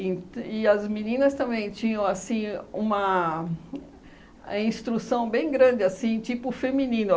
e as meninas também tinham, assim, uma a instrução bem grande, assim, tipo feminino.